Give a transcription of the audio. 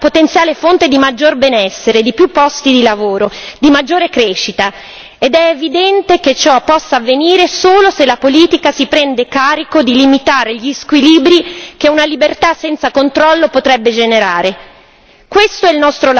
La libertà commerciale è una potenziale fonte di maggior benessere, di più posti di lavoro, di maggiore crescita, ed è evidente che ciò possa avvenire solo se la politica si prende carico di limitare gli squilibri che una libertà senza controllo potrebbe generare.